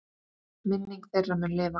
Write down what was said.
Minning þeirra mun lifa.